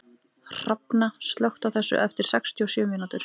Hrafna, slökktu á þessu eftir sextíu og sjö mínútur.